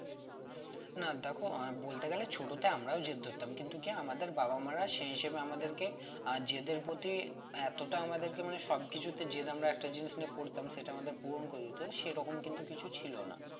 না দেখো বলতে গেলে ছোটতে আমরাও জেদ ধরতাম কিন্তু কি আমাদের বাবা-মারা সে হিসেবে আমাদেরকে আহ জেদের প্রতি এতটা আমাদেরকে মানে সবকিছুতে জেদ আমরা একটা জিনিস নিয়ে করতাম সেটা আমাদের পূরণ করে দিত তো সেরকম কিন্তু কিছু ছিল না